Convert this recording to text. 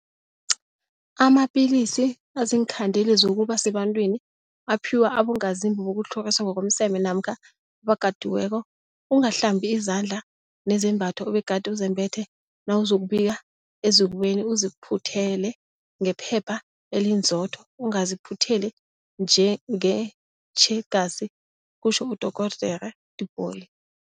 Amapilisi aziinkhandeli zokuba sebantwini aphiwa abongazimbi bokutlhoriswa ngokomseme namkha abakatiweko. Ungahlambi izandla nezembatho obegade uzembethe nawuzokubika ezikweni, uziphuthele ngephepha elinzotho, ungaziphutheli ngetjhegasi kutjho uDorh Tipoy.